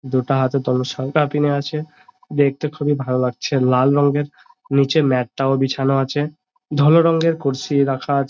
দুটা হাতে ধনুসঙ্করানি আছে। দেখতে খুবই ভালো লাগছে লাল রঙের নিচে ম্যাট -টা ও বিছানো আছে ধুলো রঙের কুরসি রাখা আছে।